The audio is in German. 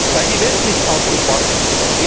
Weil die Welt nicht auf uns wartet.